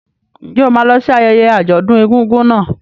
Ǹjẹ́ o máa lọ sí ayẹyẹ àjọ̀dún egúngún náà?